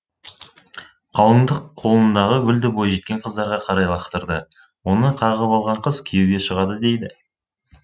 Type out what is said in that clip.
қалыңдық қолындағы гүлді бойжеткен қыздарға қарай лақтырды оны қағып алған қыз күйеуге шығады дейді